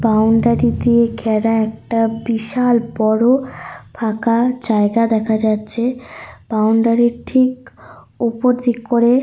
Grill রয়েছে আর পাশে একটা বড়ো বিল্ডিং দেখা যাচ্ছে সাদা রঙের।